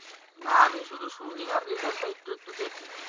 না আমি শুনি আর result টা একটু একটু দেখি